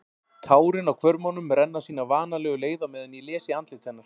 Tárin á hvörmunum renna sína vanalegu leið á meðan ég les í andlit hennar.